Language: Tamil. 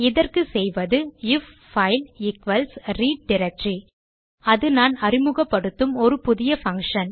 இதற்கு செய்வது if file equals read directory அது நான் அறிமுகப்படுத்தும் ஒரு புதிய function